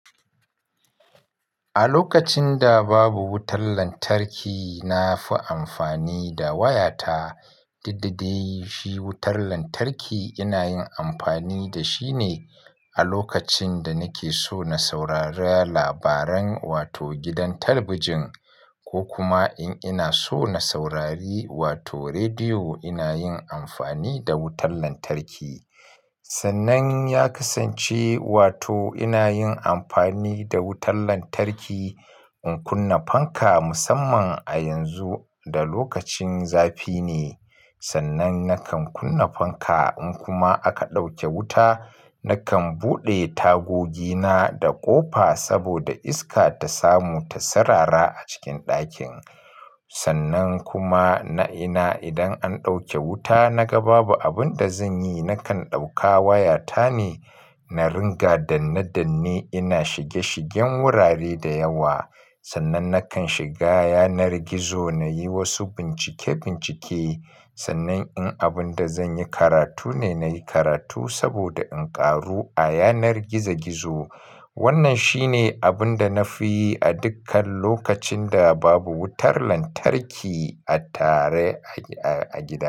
A lokacin da babu wutar lantarki, na fi amfani da wayata. Duk dadai shi wutar lantarki ina yin amfani da shi ne a lokacin da nake so na saurara labaran wato gidan talabijin ko kuma in ina so na saurari wato rediyo ina yin amfani da wutar lantarki. Sannan ya kasance wato ina yin amfani da wutar lantarki in kunna fanka musamman a yanzu da lokacin zafi ne. Sannan nakan kunna fanka in kuma aka ɗauke wuta nakan buɗe tagogina da ƙofa saboda iska ta samu ta sarara a cikin ɗakin. Sannan kuma na'ina idan an ɗauke wuta naga babu abun da zan yi nakan ɗauka waya tane na ringa danne danne ina shige shigen wurare da yawa. Sannan nakan shiga yanar gizo na yi wasu bincike bincike. Sannan in abun da zan yi karatu ne, nayi karatu saboda in ƙaru a yanar gizo gizo. Wannan shine abun da na fi yi a dukkan lokacin da babu wutar lantarki a tare a gida.